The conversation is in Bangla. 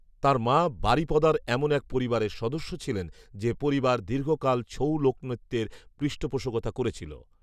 তাঁর মা বারিপদার এমন এক পরিবারের সদস্য ছিলেন যে পরিবার দীর্ঘকাল ছৌ লোকনৃত্যের পৃষ্ঠপোষকতা করেছিল